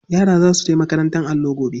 Yara za su je makarantar allo gobe.